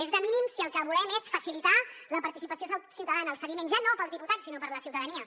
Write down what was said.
és de mínims si el que volem és facilitar la participació ciutadana el seguiment ja no per als diputats sinó per a la ciutadania